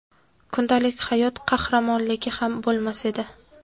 kundalik hayot qahramonligi ham bo‘lmas edi.